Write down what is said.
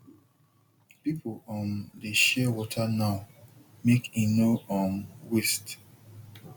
people um dey share water now make e no um waste